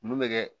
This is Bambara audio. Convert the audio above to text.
Mun bɛ kɛ